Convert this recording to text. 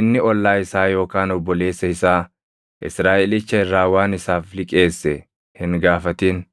inni ollaa isaa yookaan obboleessa isaa Israaʼelicha irraa waan isaaf liqeesse hin gaafatin.